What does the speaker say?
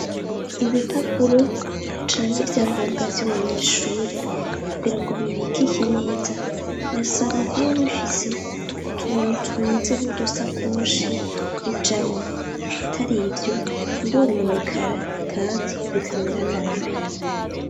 Ibipapuro canke ivyangombwa vy'umunyeshure kugira ngo bibikike neza, birasaba kuba bifise utuntu tumeze nk'udusakoshi bijamwo. Atar'ivyo, birononekara kandi bikamera nabi.